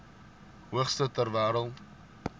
hoogste ter wêreld